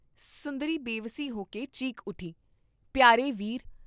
ਸੁੰਦਰੀ ਬੇਵਸੀ ਹੋਕੇ ਚੀਕ ਉੱਠੀ, ' ਪਿਆਰੇ ਵੀਰ!